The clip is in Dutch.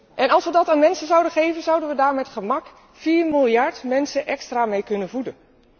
En als we dat aan mensen zouden geven, zouden we daar met gemak vier miljard mensen extra mee kunnen voeden.